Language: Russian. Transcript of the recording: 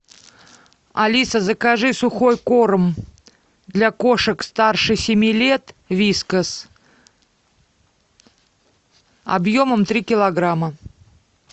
алиса закажи сухой корм для кошек старше семи лет вискас объемом три килограмма